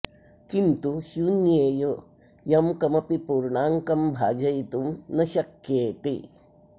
किन्तु शून्येय यं कमपि पूर्णाङ्कं भाजयितुं न शक्येते